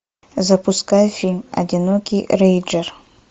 запускай фильм одинокий рейнджер